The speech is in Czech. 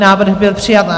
Návrh byl přijat.